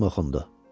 Hökm oxundu.